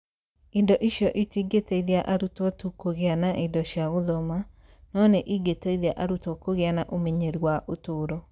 Indo icio itingĩteithia arutwo tu kũgĩa na indo cia gũthoma, no nĩ ingĩteithia arutwo kũgĩa na ũmenyeru wa ũtũũro